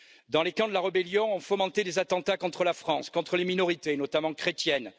Dans les camps de la rébellion, on fomentait des attentats contre la France, contre les minorités, notamment chrétiennes.